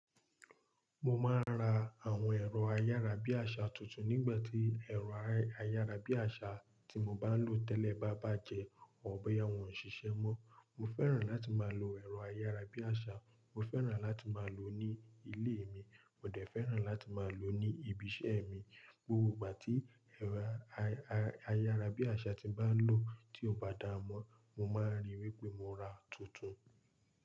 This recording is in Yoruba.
Mo máa n ra àwọn ẹ̀rọ-ayara-bí-àṣà tuntun nígbà tí ẹ̀rọ ayara-bí-àṣà tí mo bá ń ló tẹ́lẹ̀ bá bàjẹ́, or bóyá wọ́n ò ṣiṣẹ́ mọ. Mo fẹ́ràn láti máa lo ẹ̀rọ ayara-bí-àṣà. Mo fẹ́ràn láti máa lo ó ní ilé mi, mo dẹ̀ fẹ́ràn láti máa lo ó ní ibiṣẹ́ mi. Gbogbo ìgbà tí ẹ̀rọ ayara-bí-àṣà tí mo bá ń ló tí ò bá dáamọ́, mo máa rí í wé pé mo ra tuntun.